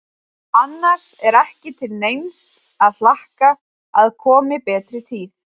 Annars er ekki til neins að hlakka að komi betri tíð.